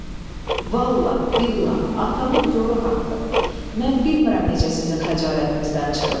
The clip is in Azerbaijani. Vallah billah atamın göru haqqı, mən bilmirəm necə sizin xəcalətinizdən çıxım.